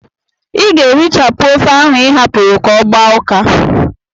I ga-erichapụ ofe ahụ ị hapụrụ ka ọ gbaa ụka!